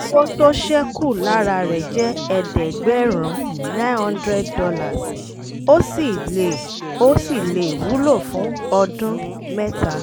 ilẹ̀ iṣẹ́ náà maa nṣètò àkọsílẹ̀ ètò ajé wọn lẹẹkàn lọ́dún ní ọjọ́ kọkànlélọ́gbọ̀n oṣù kejìlá